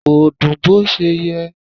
Kò dùn bó ṣe yẹ.